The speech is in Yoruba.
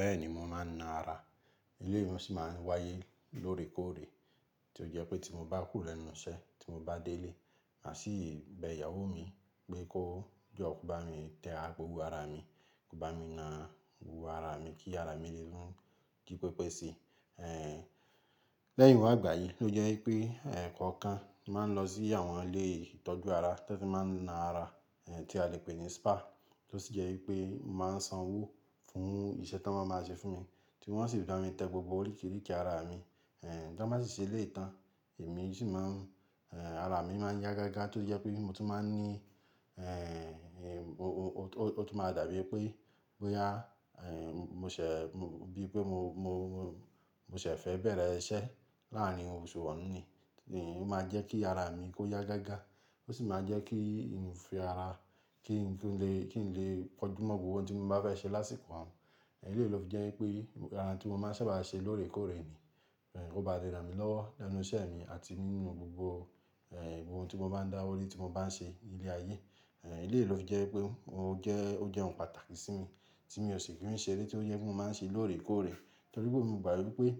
Bẹ́ẹ̀ni mo máa ń na ara, ilé mi ni o si máa ń wáyé lóòrèkóòrè tí ó jẹ́ pé tí mo bá kúro lẹ́nu iṣẹ́, tí mo bá délé, màá sì bẹ ìyàwó mi pé kó jọ bá mi tẹ gbo wo ara mi, kó bá mi na wo ara mi kí ara mi lè rún jí pépé si. Ẹ̀ lẹ́yìn wa àgbáyén ló jẹ́ wípé ẹ̀ kọ̀ọ̀kan máa ń lọ sí àwọn ilé ìtọ́jú ara tí wọ́n fi máa ń na ara, ẹ̀ tí a lè pè ní spa, tó sì jẹ́ wípé máa ń san owó fún iṣẹ́ tí wọ́n máa ń ṣe fún mi, tí wọ́n sì bá mi tẹ gbogbo oríkerìke ara mi. Ẹ̀ tí wọ́n bá sì ṣe létan, èmi yóò sì máa ń ẹ̀ ara mi máa ń yá gágá tó jẹ́ pé mi mo tún máa ń ní ẹ̀ ó tún máa dàbí pé bóyá ẹ̀ n mo ṣẹ̀ bíi pé mo, mo, mo ṣẹ̀ fẹ́ bẹ̀rẹ̀ iṣẹ́ láàárín òṣùwọ̀n ni, òhun sì máa jẹ́ kí ara mi kó yá gágá, ó sì máa jẹ́ kí n fi ara kí n kí n lè kí n lè pọ́jú mọ́ gbogbo ohun tí mo bá fẹ́ ṣe lásìkò ọ̀un. Eléyi ló fi jẹ́ wípé ara tí mo máa ń sábà ṣe lóòrèkóòrè ni, ki ó ba lẹ ràn mi lọ́ lẹ́nu iṣẹ́ mi àti nínú gbogbo ẹ̀ gbogbo ohun tí mo bá ń dáwọ́ rí tí mo bá ń ṣe ní ilé ayé. Ẹ̀léyi ló fi jẹ́ pé ó jẹ́ ó jẹ́ ohun pàtàkì sí mi tí mi ò ṣe kì í ṣe eré tí ó jẹ́ pé mo máa ń ṣe lóòrèkóòrè. Nítorí pé mo mọ̀ pé ẹ̀